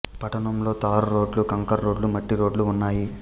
పట్టణంలో తారు రోడ్లు కంకర రోడ్లు మట్టి రోడ్లూ ఉన్నాయి